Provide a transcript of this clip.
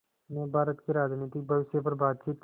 ने भारत के राजनीतिक भविष्य पर बातचीत